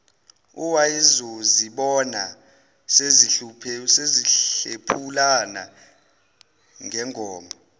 owayezozibona sezihlephulana ngengoma